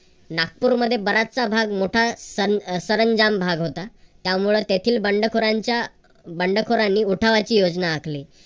नागपूरमध्ये बराचसा भाग मोठा सर अह सरंजाम भाग होता. त्यामुळे तेथील बंडखोरांच्या बंडखोरांनी उठावाची योजना आखली.